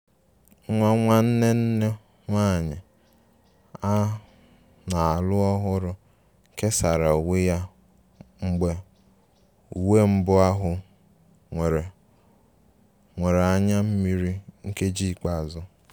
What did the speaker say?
Nwa nwanne nne nwanyị a na-alụ ọhụrụ kesara uwe ya mgbe uwe mbụ ahụ nwere nwere anya mmiri nkeji ikpeazụ